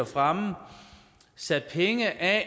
fremme sat penge af